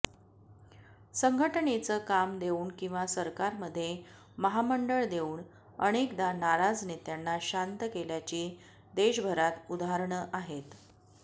संघटनेचं काम देऊन किंवा सरकारमध्ये महामंडळं देऊन अनेकदा नाराज नेत्यांना शांत केल्याची देशभरात उदाहरणं आहेत